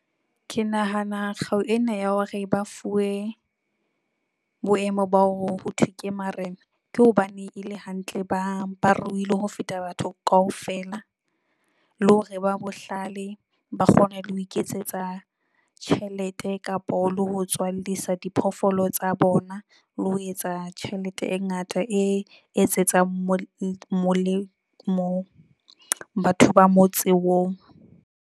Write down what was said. Ke nahana kgau ena ya hore ba fuwe boemo ba ho thwe ke marena. Ke hobane e le hantle bang ba ruile ho feta batho kaofela, le hore ba bohlale ba kgona le ho iketsetsa tjhelete kapo le ho tswallisa diphoofolo tsa bona le ho etsa tjhelete e ngata e etsetsang molemo batho ba motse oo.